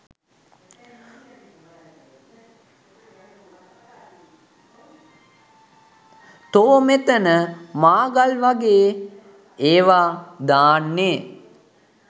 තෝ මෙතන මාගල් වගේ ඒවා දාන්නේ